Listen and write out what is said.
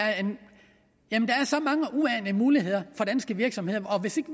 så mange muligheder for danske virksomheder og hvis ikke